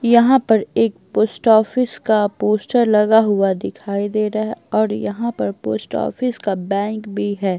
यहां पर एक पोस्ट ऑफिस का पोस्टर लगा हुआ दिखाई दे रहा है और यहां पर पोस्ट ऑफिस का बैंक भी --